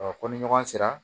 ko ni ɲɔgɔn sera